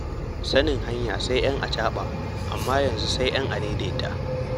Sanin hanya sai 'yan acaɓa, amma a yanzu sai 'yan adaidaita.